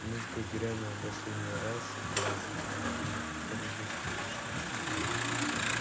музыка грянула последний раз пронзительно и торжествующе